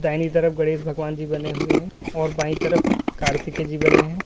दाहिनी तरफ गणेश भगवान जी बने हुए हैं और बाएं तरफ कार्तिके जी बने हैं।